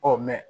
Ɔ